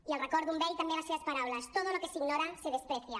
i els recordo amb ell també les seves paraules todo lo que se ignora se desprecia